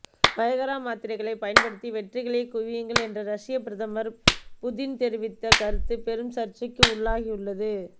Viagra மாத்திரைகளை பயன்படுத்தி வெற்றிகளைக் குவியுங்கள் என்று ரஷ்யப் பிரதமர் புதின் தெரிவித்த கருத்து பெரும் சர்ச்சைக்கு உள்ளாகியுள்ளது